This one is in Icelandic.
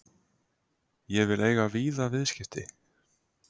Ég vil eiga víða viðskipti.